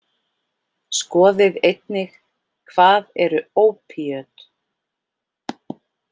Skoðið einnig: Hvað eru ópíöt?